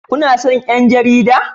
Kuna son 'yan jarida?